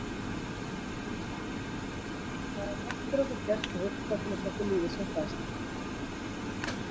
Það er allt fyrir okkur gert og hugsað til þess að okkur líði sem best.